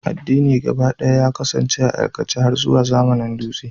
Addini gabaɗaya ya kasance a aikace har zuwa zamanin dutse.